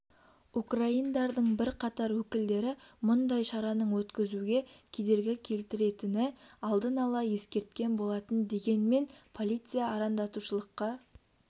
украиндардың бірқатар өкілдері мұндай шараның өткізуге кедергі келтіретіні алдын ала ескерткен болатын дегенмен полиция арандатушылықа